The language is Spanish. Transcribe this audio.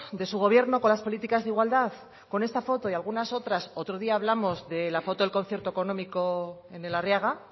de su gobierno con las políticas de igualdad con esta foto y algunas otras otro día hablamos de la foto del concierto económico en el arriaga